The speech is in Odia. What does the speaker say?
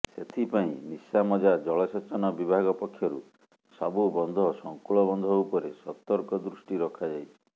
ସେଥିପାଇଁ ନିଶାମଜା ଜଳସେଚନ ବିଭାଗ ପକ୍ଷରୁ ସବୁ ବନ୍ଧସଙ୍କୁଳ ବନ୍ଧ ଉପରେ ସତର୍କ ଦୃଷ୍ଟି ରଖାଯାଇଛି